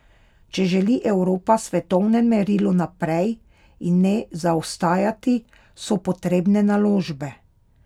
Če želi Evropa v svetovnem merilu naprej in ne zaostajati, so potrebne naložbe.